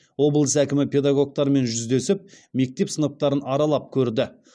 облыс әкімі педагогтармен жүздесіп мектеп сыныптарын аралап көрді